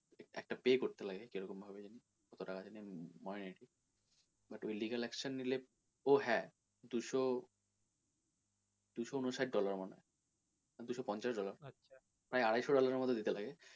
একটা pay করতে লাগে কীরকম ভাবে যেন কত টাকা যেন মনে নেই ঠিক but ওই legal action নিলে, ও হ্যাঁ দুশো দুশো উনষাট dollar মতন দুশো পঞ্চাশ dollar প্রায় আড়াইশো dollar এর মতো দিতে লাগে।